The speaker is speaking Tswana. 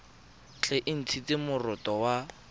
tle e ntshiwe moroto wa